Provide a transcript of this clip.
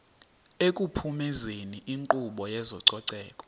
ekuphumezeni inkqubo yezococeko